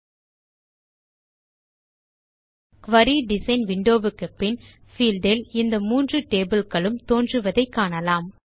ல்ட்பாசெக்ட் query design window க்கு பின் field இல் இந்த மூன்று டேபிள்ஸ் களும் தோன்றுவதை காணலாம்